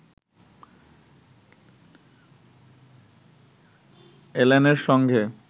এল্যানের সঙ্গে